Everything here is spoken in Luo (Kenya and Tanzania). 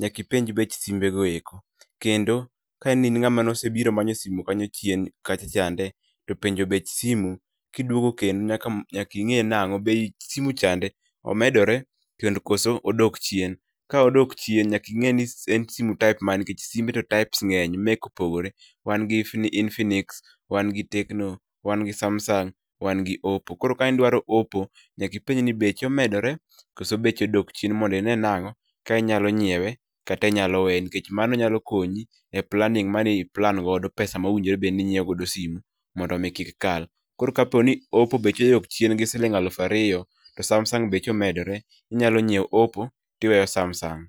nyaki ipenj bech simbe go eko. Kendo ka ni in ng'ama nosebiro manyo simu kanyo chien kacha chande, to penjo bech simu, kiduogo kendo nyaki nyaki ing'e nang'o bech simu chande omedore kendo koso odok chien. Ka odok chien, nyaki ing'e ni en simu type mane nikech simbe to type ng'eny, makecs] opogore. Wan gi infinix, wan gi tecno, wan gi samsung, wa gi oppo. Koro kanidwaro oppo, nyaki ipenj ni beche omedore, koso beche odok chien mondi ine nang'o, ka inyalo nyiewe kata inyalo weye nikech mano nyalo konyi e planning mani i plan godo pesa mowinjore bedni inyiew godo simu mondo mi kik kal. Koro kaponi oppo beche odok chien, gi siling' aluf ariyo, to samsung beche omedore, inyalo nyiew opo tiweyo samsung